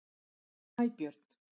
Snæbjörn